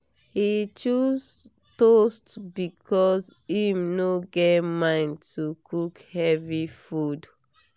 he choose toast because him no get mind to cook heavy food.